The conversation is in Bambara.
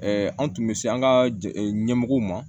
an tun bɛ se an ka ɲɛmɔgɔw ma